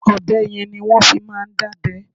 Ọ̀bẹ yen ni wọ́n fi máa ń dábẹ́.